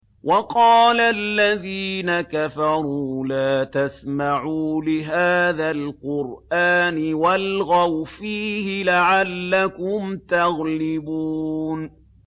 وَقَالَ الَّذِينَ كَفَرُوا لَا تَسْمَعُوا لِهَٰذَا الْقُرْآنِ وَالْغَوْا فِيهِ لَعَلَّكُمْ تَغْلِبُونَ